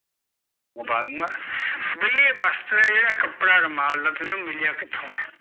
ਬਈ ਇਹ ਬਸਤਰ ਐ ਜਿਹੜਾ ਕਪੜਾ ਰੁਮਾਲ ਦਾ ਤੈਨੂ ਮਿਲਿਆ ਕਿਥੋਂ ਐ?